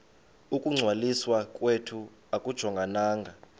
ukungcwaliswa kwethu akujongananga